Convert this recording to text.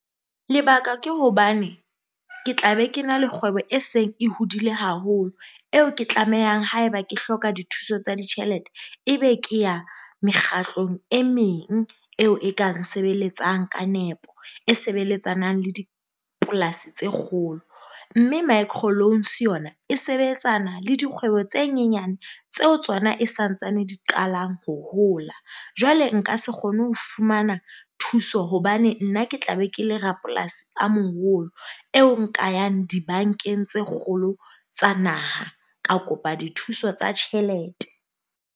Lebaka ke hobane ke tla be ke na le kgwebo e seng e hodile haholo eo ke tlamehang haeba ke hloka dithuso tsa ditjhelete, ebe ke ya mekgahlong e meng eo e ka nsebeletsang ka nepo. E sebeletsanang le dipolasi tse kgolo, mme micro loans yona e sebetsana le dikgwebo tse nyenyane tseo tsona e santsane di qalang ho hola. Jwale nka se kgone ho fumana thuso hobane nna ke tla be ke le rapolasi a moholo eo nka yang di-bank-eng tse kgolo tsa naha, ka kopa dithuso tsa tjhelete.